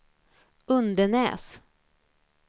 Undenäs